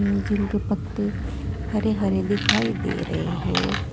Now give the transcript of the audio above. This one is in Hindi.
जिनके पत्ते हरे हरे दिखाई दे रहे है।